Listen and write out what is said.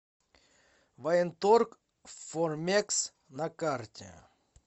военторг формекс на карте